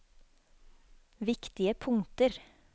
viktige punkter